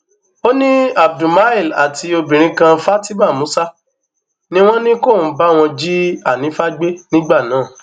ó ní abdulmile àti obìnrin kan fatima musa ni wọn ní kóun báwọn jí hanifa gbé nígbà náà